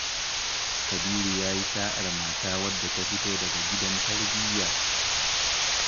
Kabiru ya yi sa'ar mata wadda ta fito daga gidan tarbiyya.